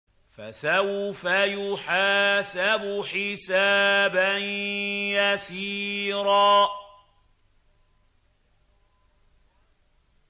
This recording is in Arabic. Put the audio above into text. فَسَوْفَ يُحَاسَبُ حِسَابًا يَسِيرًا